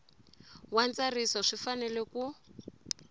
wa ntsariso swi fanele ku